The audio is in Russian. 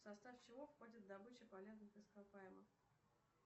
в состав чего входит добыча полезных ископаемых